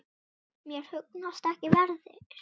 Mér hugnast ekki veðrið.